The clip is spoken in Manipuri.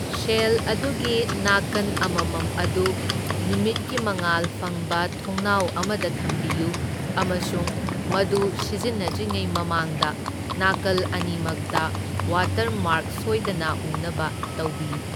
ꯁꯦꯜ ꯑꯗꯨꯒꯤ ꯅꯥꯀꯟ ꯑꯃꯃꯝ ꯑꯗꯨ ꯅꯨꯃꯤꯠꯀꯤ ꯃꯉꯥꯜ ꯐꯪꯕ ꯊꯣꯡꯅꯥꯎ ꯑꯃꯗ ꯊꯝꯕꯤꯌꯨ ꯑꯃꯁꯨꯡ ꯃꯗꯨ ꯁꯤꯖꯤꯟꯅꯗ꯭ꯔꯤꯉꯩ ꯃꯃꯥꯡꯗ ꯅꯥꯀꯜ ꯑꯅꯤꯃꯛꯇ ꯋꯥꯇꯔꯃꯥꯔꯛ ꯁꯣꯏꯗꯅ ꯎꯅꯕ ꯇꯧꯕꯤꯌꯨ꯫